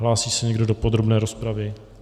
Hlásí se někdo do podrobné rozpravy?